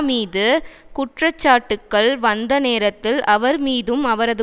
மீது குற்றச்சாட்டுக்கள் வந்த நேரத்தில் அவர் மீதும் அவரது